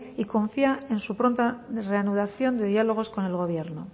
y confía en su pronta reanudación de diálogos con el gobierno